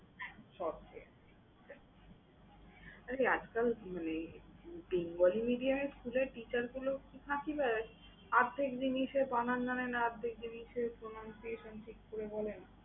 বটে আরে আজকাল মানে এর teacher গুলো একটু ফাঁকিবাজ, অর্ধেক জিনিসের বানান জানে না, অর্ধেক জিনিসের pronunciation ঠিক করে বলে না।